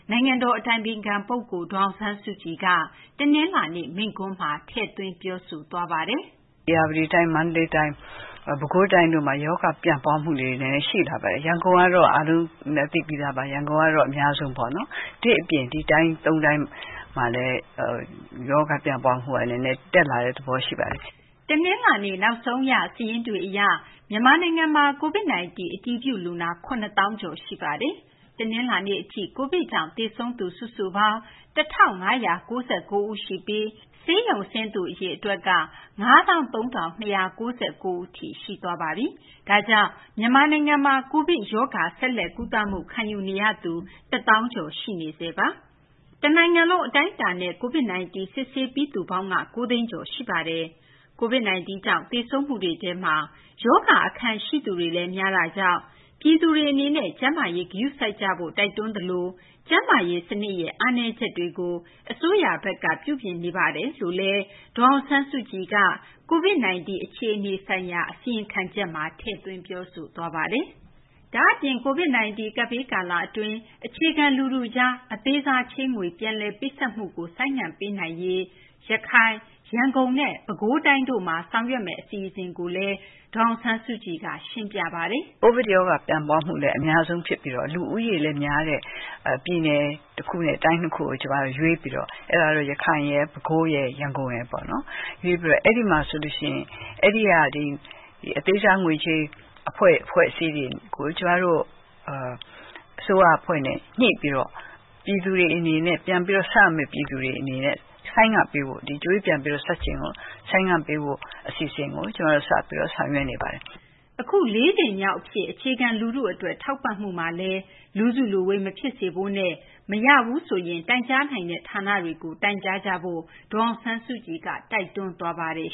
နိုင်ငံတော် အတိုင်ပင်ခံ ပုဂ္ဂိုလ် ဒေါ်အောင်ဆန်းစုကြည်က တနလာၤနေ့ မိန့်ခွန်းမှာ သတိပေးပြောကြားခဲ့ပါတယ်။ “ ဧရာဝတီတိုင်း၊ မန္တလေးတိုင်း၊ ပဲခူးတိုင်းတို့မှာ ရောဂါ ပြန့်ပွားမှုလေးတွေ နည်းနည်း ရှိလာပါတယ်။ ရန်ကုန် ကတော့ အားလုံးလည်း သိပြီးသားပါ။ ရန်ကုန်ကတော့ အများဆုံးပေါ့နော်။ ဒီ့အပြင် ဒီ တိုင်း သုံးတိုင်းမှာလည်း ရောဂါ ပျံ့ပွားမှုက နည်းနည်း တက်လာတဲ့ သဘောရှိပါတယ်။” တနလာၤနေ့ နောက်ဆုံးရ စာရင်းတွေ အရ မြန်မာနိုင်ငံမှာ COVID-19 အတည်ပြု လူနာ ၇၀,၀၀၀ ကျော် ရှိနေပါတယ်။ တနလာၤနေ့ အထိ COVID ကြောင့် သေဆုံးသူ စုစုပေါင်း ၁၅၉၉ ဦးရှိပြီး ဆေးရုံဆင်းသူ အရေအတွက်က ၅၃,၂၉၉ ဦးထိ ရှိသွားပါပြီ။ ဒါကြောင့် မြန်မာနိုင်ငံမှာ COVID ရောဂါ ဆက်လက် ကုသမှု ခံယူနေရသူ ၁၀,၀၀၀ ကျော် ရှိပါတယ်။ တနိုင်ငံလုံး အတိုင်းအတာနဲ့ COVID 19 စစ်ဆေးပြီးသူပေါင်းက ၉ သိန်းကျော် ရှိပါတယ်။ COVID 19 ကြောင့် သေဆုံးမှုတွေထဲမှာ ရောဂါ အခံရှိသူတွေလည်း များတာကြောင့် ပြည်သူတွေ အနေနဲ့ ကျန်းမာရေး ဂရုစိုက်ကြဖို့ တိုက်တွန်းသလို ကျန်းမာရေး စနစ်ရဲ့ အားနည်းချက်တွေကို အစိုးရဘက်က ပြုပြင်နေကြောင်းလည်း ဒေါ်အောင်ဆန်းစုကြည်က COVID 19 အခြေအနေ ဆိုင်ရာ အစီရင်ခံချက်မှာ ထည့်သွင်း ပြောဆိုသွားပါတယ်။ ဒါ့အပြင် COVID 19 ကပ်ဘေး ကာလ အတွင်း အခြေခံ လူထုကြား အသေးစား ချေးငွေ ပြန်လည် ပေးဆပ်မှုကို ဆိုင်းငံ့ပေးနိုင်ရေး ရခိုင်၊ ရန်ကုန်နဲ့ ပဲခူးတိုင်းတို့မှာ ဆောင်ရွက်မယ့် အစီအစဉ်ကိုလည်း ဒေါ်အောင်ဆန်းစုကြည်က ရှင်းပြပါတယ်။ “ COVID ရောဂါ ပြန့်ပွားမှုလည်း အများဆုံး ဖြစ်ပြီး လူဦးရေလည်း များတဲ့ ပြည်နယ် တခုနဲ့ တိုင်း ၂ ခုကို ကျမတို့ ရွေးပြီးတော့ အဲဒါတော့ ရန်ကုန်ရယ်၊ ပဲခူးရယ်၊ ရန်ကုန်ရယ်ပေါ့နော်။ အဲဒီက အသေးစား ငွေချေး အဖွဲ့အစည်းတွေကို ကျမတို့ အစိုးရ အဖွဲ့နဲ့ ညှိပြီးတော့ ပြန်ပြီး ဆပ်ရမယ့် ပြည်သူတွေ အနေနဲ့ ဆိုင်းငံ့ပေးဖို့၊ ဒီ ကြွေးပြန်ဆပ်ချိန်ကို ဆိုင်းငံ့ပေးဖို့ အစီအစဉ်ကို ကျမတို့ စပြီးတော့ ဆောင်ရွက်နေပါတယ်။” အခု လေးကြိမ်မြောက် အဖြစ် အခြေခံ လူထု အတွက် ထောက်ပံ့မှုမှာလည်း လူစုလူဝေး မဖြစ်စေဖို့နဲ့ မရရင် တိုင်ကြားနိုင်တဲ့ ဌာနတွေကို တိုင်ကြားကြဖို့လည်း ဒေါ်အောင်ဆန်းစုကြည်က တိုက်တွန်းသွားပါတယ်